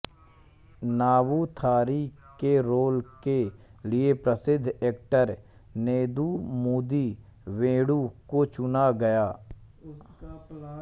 नम्बूथरी के रोल के लिए प्रसिद्द एक्टर नेदुमुदी वेणु को चुना गया